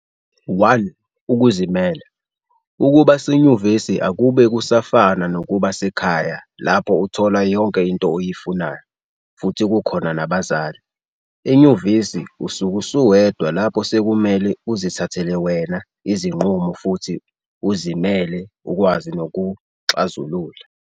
1Ukuzimela - ukuba senyuvesi akube kusafana nokuba sekhaya lapho uthola yonke into oyifunayo futhi kukhona nabazali, enyuvesi usuke usuwedwa lapho sekumele uzithathele wena izinqumo futhi izimele ukwazi nokuxazulula